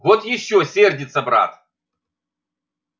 вот ещё сердится брат